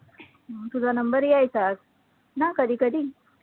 तुझा number यायचाच ना कधी कधी